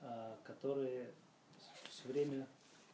которые всё время